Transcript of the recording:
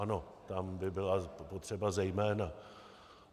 Ano, tam by byla potřeba zejména.